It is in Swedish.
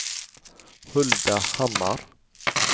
Hulda Hammar